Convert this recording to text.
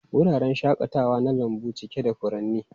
Wuraren shakatawa na lambu cike da furanni.